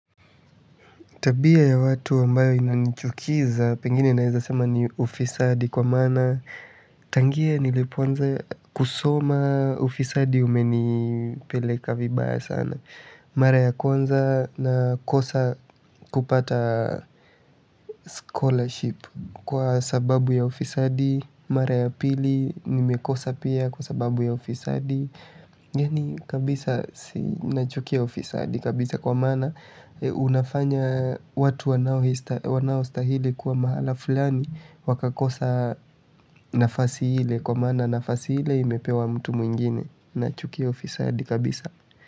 Tabia ya watu ambayo inanichukiza, pengine naweza sema ni ufisadi kwa maana, tangie nilipoanza kusoma ufisadi umenipeleka vibaya sana. Mara ya kwanza nakosa kupata scholarship kwa sababu ya ufisadi, mara ya pili, nimekosa pia kwa sababu ya ufisadi. Gani kabisa si nachukia ufisadi kabisa kwa maana unafanya watu wanaostahili kuwa mahala fulani wakakosa nafasi ile kwa maana nafasi ile imepewa mtu mwingine. Nachukia ufisadi kabisa.